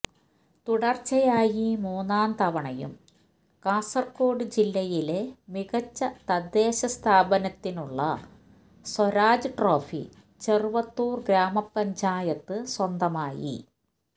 തുടർച്ചയായി മൂന്നാം തവണയും കാസർകോട് ജില്ലയിലെ മികച്ച തദ്ദേശസ്ഥാപനത്തിനുള്ള സ്വരാജ് ട്രോഫി ചെറുവത്തൂർ ഗ്രാമപ്പഞ്ചായത്ത് സ്വന്തമായി